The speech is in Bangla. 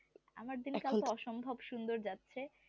আমার দিনকাল অসম্ভব সুন্দর যাচ্ছে